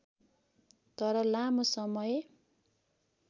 तर लामो समय